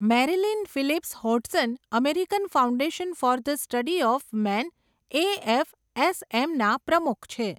Marilyn Phillips Hodson American Foundation for the Study of Man AFSM ના પ્રમુખ છે.